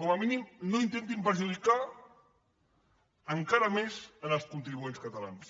com a mínim no intentin perjudicar encara més els contribuents catalans